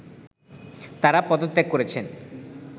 তারা পদত্যাগ করেছেন